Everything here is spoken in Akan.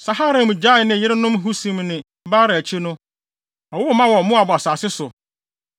Saharaim gyaee ne yerenom Husim ne Baara akyi no, ɔwoo mma wɔ Moab asase so.